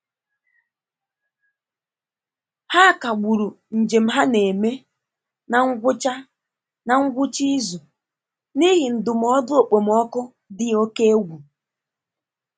Ha kagburu njem ha na-eme na ngwụcha na ngwụcha izu n'ihi ndụmọdụ okpomọkụ dị oke egwu.